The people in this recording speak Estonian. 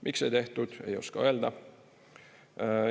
Miks ei tehtud, ei oska öelda.